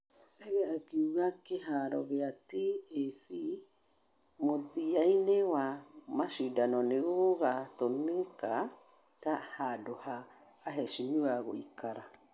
Chege akiuga kĩharo gĩa Tac mũthiaine wa mashidano ni ũgatũmika ta hadu ha aeshimiwa gũikara.